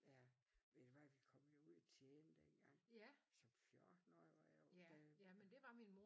Ja ved du ved vi kom jo ud og tjene dengang som 14 årig var jeg da